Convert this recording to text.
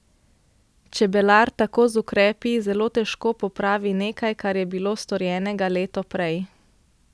Čebelar tako z ukrepi zelo težko popravi nekaj, kar je bilo storjenega leto prej.